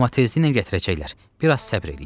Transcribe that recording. Amma tezliklə gətirəcəklər, biraz səbr eləyin.